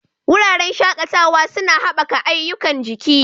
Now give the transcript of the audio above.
Wuraren shakatawa suna haɓaka ayyukan jiki.